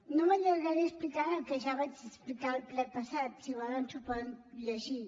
no m’allargaré explicant el que ja vaig explicar al ple passat si volen s’ho poden llegir